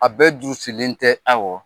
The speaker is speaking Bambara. A bɛɛ durusilen tɛ; Awɔ!